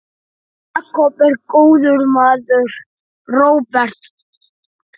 Jakob er góður maður, Róbert.